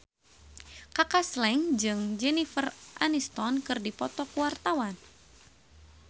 Kaka Slank jeung Jennifer Aniston keur dipoto ku wartawan